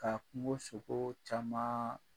Ka kungo sogoo camaan